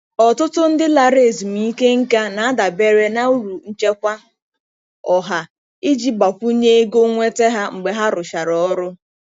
Ọtụtụ ndị lara ezumike nká na-adabere na uru Nchekwa Ọha iji gbakwunye ego nnweta ha mgbe ha rụchara ọrụ.